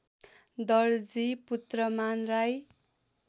Darji Putraman Rai